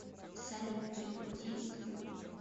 салют прикрути звук